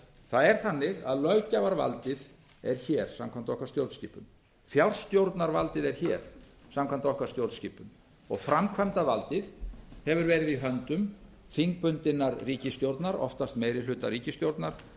það er þannig að löggjafarvaldið er hér samkvæmt okkar stjórnskipun fjárstjórnarvaldið er hér samkvæmt okkar stjórnskipun og framkvæmdarvaldið hefur verið í höndum þingbundinnar ríkisstjórnar oftast meirihlutaríkisstjórnar